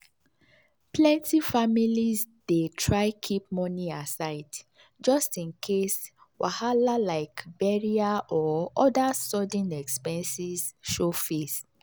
plenty families dey try keep money aside just in case wahala like burial or other sudden expenses show face.